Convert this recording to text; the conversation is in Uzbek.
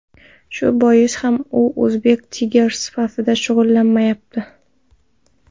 Shu boisdan ham u Uzbek Tigers safida shug‘ullanmayapti.